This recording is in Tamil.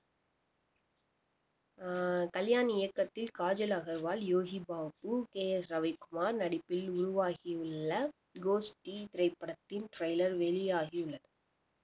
அஹ் கல்யாண் இயக்கத்தில் காஜல் அகர்வால் யோகி பாபு கே எஸ் ரவிக்குமார் நடிப்பில் உருவாகியுள்ள கோஷ்டி திரைப்படத்தின் trailer வெளியாகியுள்ளது